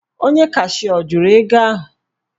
Onye cashịa ọ jụrụ ego ahụ?